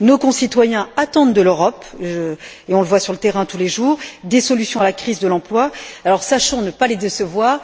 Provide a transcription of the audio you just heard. Nos concitoyens attendent de l'Europe et on le voit sur le terrain tous les jours des solutions à la crise de l'emploi. Sachons ne pas les décevoir.